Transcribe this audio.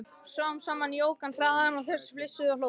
Smám saman jók hann hraðann og þau flissuðu og hlógu.